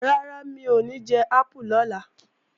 Rárá, mi ò ní jẹ ápù lọ́la